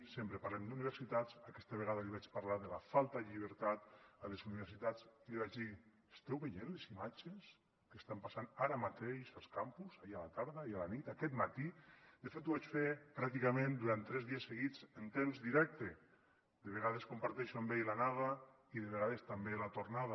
sempre parlem d’universitats aquesta vegada li vaig parlar de la falta de llibertat a les universitats i li vaig dir esteu veient les imatges de què està passant ara mateix als campus ahir a la tarda ahir a la nit aquest matí de fet ho vaig fer pràcticament durant tres dies seguits en temps directe de vegades comparteixo amb ell l’anada i de vegades també la tornada